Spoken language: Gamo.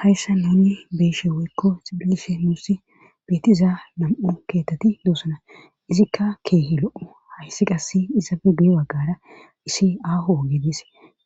hayssa nuni beeshe weykko xibilishe muussi beetiza nam7u keetteti doosana izikka keehi lo7o hayssi qassi izafe bee baggara issi aaho geedes